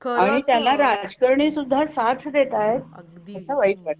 आणि त्याला राजकरणी सुद्धा साथ देतायेत अगदी याचा वाईट वाटतय.